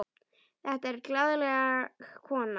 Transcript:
Þetta er glaðleg kona.